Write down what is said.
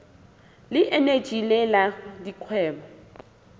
le eneji le la dikgwebo